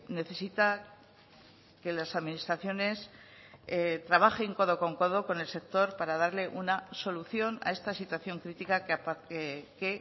necesita que las administraciones trabajen codo con codo con el sector para darle una solución a esta situación crítica que